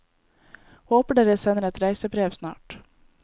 Håper dere sender et reisebrev snart.